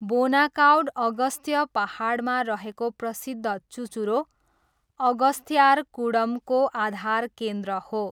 बोनाकाउड अगस्त्य पाहाडमा रहेको प्रसिद्ध चुचुरो अगस्त्यार्कुडमको आधार केन्द्र हो।